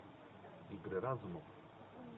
игры разумов